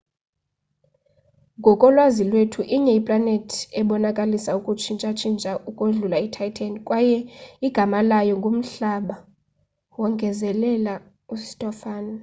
ngokolwazi lwethu inye iplanethi ebonakalisa ukutshintsha-tshintsha ukodlula ititan kwaye igama layo ngumhlaba wongezelela ustofan